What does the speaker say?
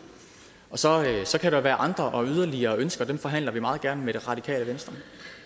så kan der være andre og yderligere ønsker og dem forhandler vi meget gerne med det radikale venstre